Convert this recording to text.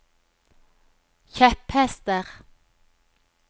kjepphester